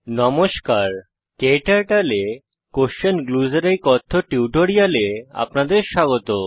নমস্কার ক্টার্টল এ কোয়েসশন গ্লুস এর এই কথ্য টিউটোরিয়ালে আপনাদের স্বাগত